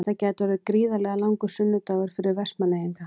Þetta gæti orðið gríðarlega langur sunnudagur fyrir Vestmannaeyinga.